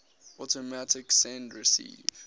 automatic send receive